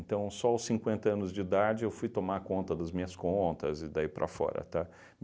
só aos cinquenta anos de idade, eu fui tomar conta das minhas contas e daí para fora, tá?